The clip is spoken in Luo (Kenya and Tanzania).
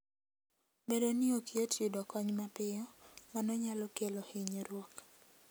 Bedo ni ok yot yudo kony mapiyo, mano nyalo kelo hinyruok.